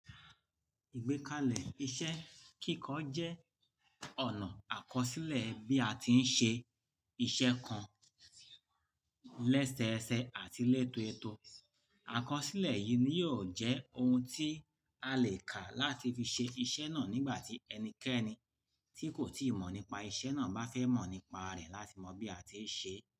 Ìgbékalẹ̀ iṣẹ́ kíkọ jẹ́ ọ̀nà àkọsílẹ̀ bí a ti ń ṣe iṣẹ́ kan lẹ́sẹẹsẹ àti lẹ́toọẹto. Àkọsílẹ̀ yìí ni yóò jẹ́ ohun tí a lè kà láti fi ṣe iṣẹ́ náà nígbà tí ẹnikẹ́ni tí kò tíì mọ̀ nípa iṣẹ́ náà bá fẹ́ mọ̀ nípa rẹ̀ láti mọ bí a ti ń ṣe é.